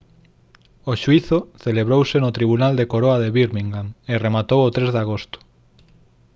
o xuízo celebrouse no tribunal da coroa de birmingham e rematou o 3 de agosto